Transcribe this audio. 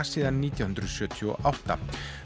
síðan nítján hundruð sjötíu og átta